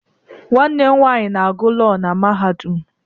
Nwanne m nwaanyị na-agụ Lọọ na mahadum.